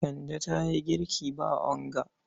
Kande ta yi girki ba onga.